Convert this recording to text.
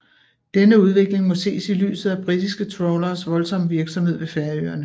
Denne udvikling må ses i lyset af britiske trawleres voldsomme virksomhed ved Færøerne